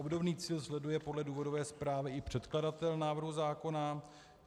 Obdobný cíl sleduje podle důvodové zprávy i předkladatel návrhu zákona.